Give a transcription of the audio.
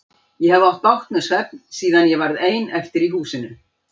Ég hef átt bágt með svefn síðan ég varð ein eftir í húsinu.